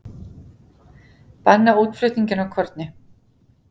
Banna útflutning á korni